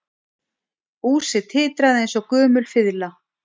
Húsið titraði eins og gömul fiðla